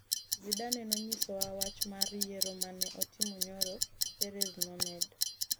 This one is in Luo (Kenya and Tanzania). Zidane nonyisowa wach mar yiero ma ne otimo nyoro'', Perez nomedo.